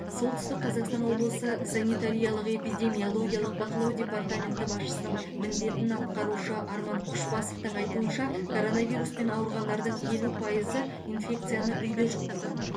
солтүстік қазақстан облысы санитариялық эпидемиологиялық бақылау департаменті басшысының міндетін атқарушы арман күшбасовтың айтуынша коронавируспен ауырғандардың елу пайызы инфекцияны үйде жұқтырған